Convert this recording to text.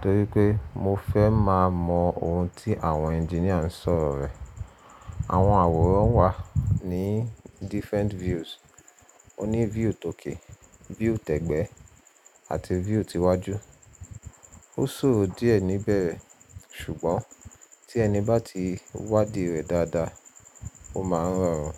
torí pé mo fẹ́ máa mọ ohun tí àwọn engineer ń sọ̀rọ̀ ẹ̀. Àwọn àwòrán wà ní different views: o ní view tòkè, view t'ẹgbẹ́, àti view ti iwájú. Ó ṣòro díẹ̀ níbẹ̀rẹ̀, ṣùgbọ́n tí ẹni bá ti wádìí rẹ̀ dáadáa, ó máa rọrùn.